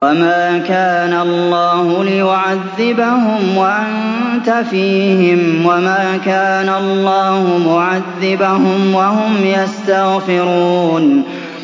وَمَا كَانَ اللَّهُ لِيُعَذِّبَهُمْ وَأَنتَ فِيهِمْ ۚ وَمَا كَانَ اللَّهُ مُعَذِّبَهُمْ وَهُمْ يَسْتَغْفِرُونَ